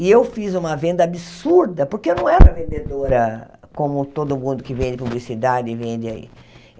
E eu fiz uma venda absurda, porque eu não era vendedora como todo mundo que vende publicidade e vende aí.